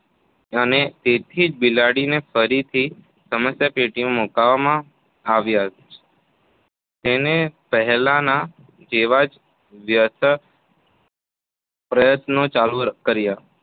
અને તેથી જ બિલાડીને ફરીથી સમસ્યાપેટીમાં મૂકવામાં આવ્યા જ તેણે પહેલાના જેવા જ વ્યર્થ પ્રયત્નો ચાલુ કર્યા